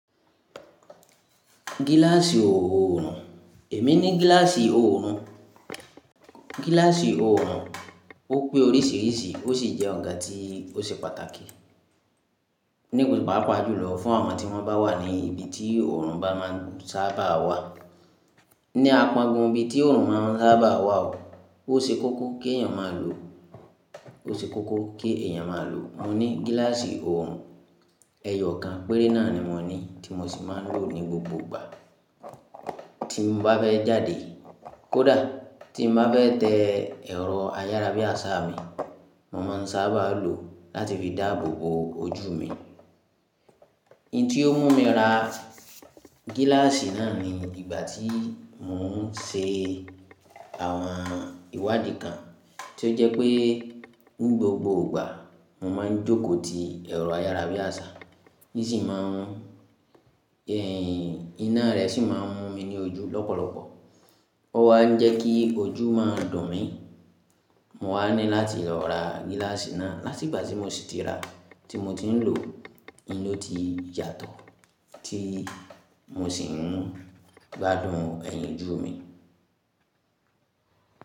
Gíláàsì oòrùn, èmi ni gíláàsì oòrùn. Gíláàsì oòrùn ó pé oríṣìíríṣìí ó sì jẹ́ nkan tí ó ṣe pàtàkì nípa pàápàá jùlọ fún àwọn tí wọ́n bá wà ní ibi tí oòrùn bá máa n sábà wà. Ní àpángun, ibi tí òòrùn máa ń sábà wà, ó ṣe kókó kí èèyàn máa lo. Ó ṣe kókó kí èèyàn máa lo. Mo ní gíláàsì òòrùn, ẹyọ̀ kan péré náà ni mo ní tí mo sì máa ń lò ní gbogbo ìgbà tí mo bá fẹ́ jáde. Kódà, tí mo bá fẹ́ tẹ ẹ̀rọ ayara bí àṣà mi, mo máa ń sábà lò ó láti fi dáàbò bo ojú mi. Ìǹtí ó mú mi ra gíláàsì náà ni ìgbà tí mo ń ṣe àwọn ìwádìí kan tí ó jẹ́ pé ni gbogbo ìgbà mo máa ń jókòó ti ẹ̀rọ ayara bí àṣà, ní sì máa ń, iná rẹ̀ sì máa ń mú mi ní ojú lọ́pọ̀lọpọ̀. Ọ̀ wá ń jẹ́ kí ojú máa dùn mí. Mo wá ní láti ra gíláàsì náà. Láti ìgbà tí mo sì ti ra, tí mo ti ń lòọ́, oun ni oti yàtọ̀, tí mo sì ń gbádùn ẹ̀yìn ojú mi.